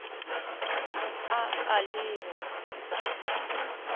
a a le b e